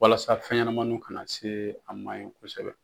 Walasa fɛnɲamanin kana se a ma ye kosɛbɛ.